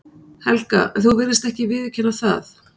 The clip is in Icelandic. Helga: En þú virðist ekki viðurkenna það?